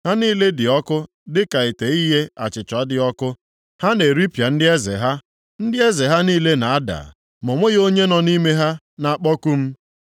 Ha niile dị ọkụ dịka ite ighe achịcha dị ọkụ. Ha na-eripịa ndị eze ha. Ndị eze ha niile na-ada, ma o nweghị onye nʼime ha na-akpọku m.